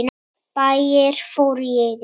Bæir fóru í eyði.